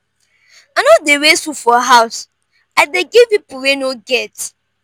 i no dey waste food for house i dey give pipo wey no get.